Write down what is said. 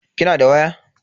Kina da waya?